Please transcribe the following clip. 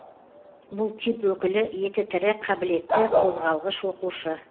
бұл тип өкілі еті тірі қабілетті қозғалғыш оқушы